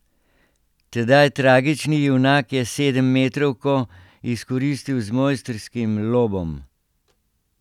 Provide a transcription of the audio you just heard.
Tedaj tragični junak je sedemmetrovko izkoristil z mojstrskim lobom.